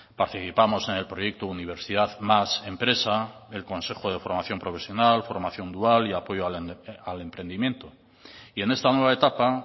participamos en el proyecto universidad más empresa el consejo de formación profesional formación dual y apoyo al emprendimiento y en esta nueva etapa